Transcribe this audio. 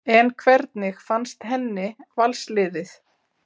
En hvernig fannst henni Vals liðið?